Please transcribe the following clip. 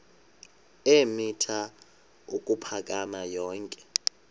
eemitha ukuphakama yonke